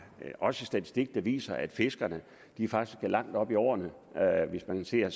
er også en statistik der viser at fiskerne faktisk er langt oppe i årene hvis man ser